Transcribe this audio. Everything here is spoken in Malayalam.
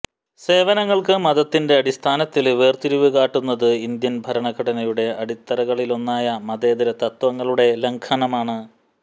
സേവനങ്ങള്ക്ക് മതത്തിന്റെ അടിസ്ഥാനത്തില് വേര്തിരിവ് കാട്ടുന്നത് ഇന്ത്യന് ഭരണഘടനയുടെ അടിത്തറകളിലൊന്നായ മതേതര തത്ത്വങ്ങളുടെ ലംഘനമാണ്